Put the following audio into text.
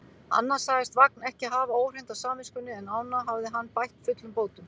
Annað sagðist Vagn ekki hafa óhreint á samviskunni, en ána hafði hann bætt fullum bótum.